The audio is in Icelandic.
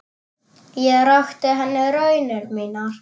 Ég rakti henni raunir mínar.